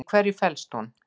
Í hverju felst hún?